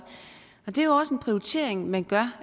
det er også en prioritering man gør